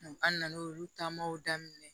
An nan'olu taamaw daminɛ